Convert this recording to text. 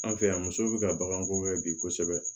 An fɛ yan musow be ka baganko kɛ bi kosɛbɛ